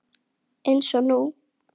Eins og nú.